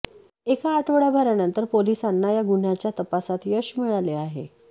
एका आठवड्याभरानंतर पोलिसांना या गुन्ह्याच्या तपासात यश मिळाले आहे